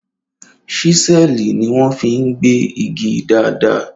Ṣísẹ́ẹ̀lì ni wọ́n fi ń gbẹ́ igi dáadáa